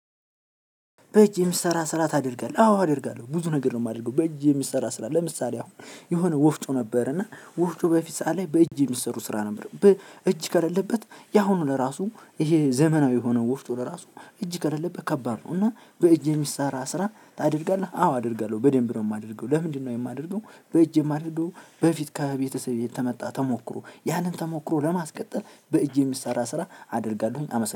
በእጅ የሚሰራ ስራ ታደርጋለህ አዎ አደርጋለሁ ብዙ ነገር ነው ማደርገው በእጅ የሚሰራ ስራ ለምሳሌ አሁን የሆነ ወፍጮ ነበር እና ወፍጮ በፊት ሰዓት ላይ በእጅ የሚሰሩ ስራ ነበር። እጅ ከሌለበት ያሁኑ ለራሱ ይሄ ዘመናዊ የሆነው ወፍጮ ለራሱ እጅ ከሌለበት ከባድ ነው። እና በእጅ የሚሰራ ስራ ታደርጋለህ አዎ አደርጋለሁ በደንብ ነው የማደርገው ለምንድነው የማደርገው? በእጄ የማደርገው በፊት ከቤተሰቤ ከመጣ ተሞክሮ ያንን ተሞክሮ ለማስቀጠል በእጄ የሚሰራ ስራ አደርጋለሁኝ። አመሰግናለሁ